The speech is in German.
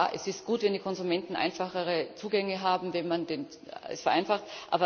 Ja, es ist gut, wenn die Konsumenten einfachere Zugänge haben, wenn man das vereinfacht.